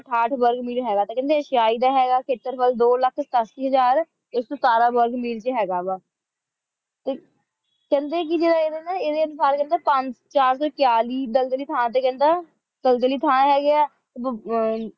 ਅਠਾਥ ਬੁਰਗ ਮੀਲ ਹੇਗਾ ਕੇਹੰਡੀ ਏਸੀਏ ਦਾ ਹੇਗਾ ਖੇਤਰ ਬੁਰਗ ਦੋ ਲਖ ਸਤਾਸੀ ਹਜ਼ਾਰ ਆਇਕ ਸੋ ਸਿਤਾਰਾ ਬੁਰਗ ਮੀਲ ਚ ਹੇਗਾ ਵ ਟੀ ਕੇਹੰਡੀ ਕੀ ਜੇਰਾ ਇੜਾ ਨਾ ਈਦੀ ਚਾਰ ਸੋ ਇਕ੍ਤਾਲਿਸ ਦਲਦਲੀ ਥਾਂ ਟੀ ਕਹੰਦਾ ਦਲਦਲੀ ਥਾਂ ਹੇਗ੍ਯ ਆ ਟੀ